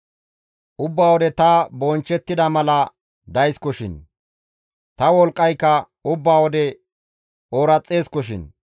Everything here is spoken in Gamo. Ubba wode ta bonchchettida mala dayskoshin; ta wolqqayka ubba wode ooraxeskoshin.